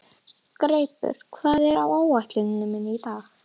Greipur, hvað er á áætluninni minni í dag?